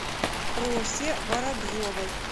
просе воробьевой